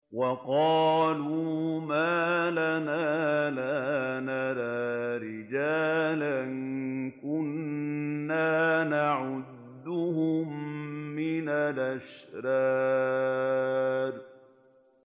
وَقَالُوا مَا لَنَا لَا نَرَىٰ رِجَالًا كُنَّا نَعُدُّهُم مِّنَ الْأَشْرَارِ